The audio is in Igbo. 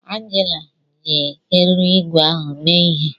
Angela ji eriri ígwè ahụ mee ihe